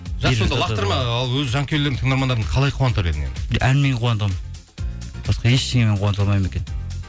ал өз жанкүйерлеріңді тыңдармандарыңды қалай қуантар едің енді әнмен қуантамын басқа ештеңемен қуанта алмаймын екенмін